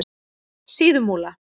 Síðumúla